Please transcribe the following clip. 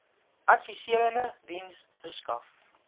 adviserende diens verskaf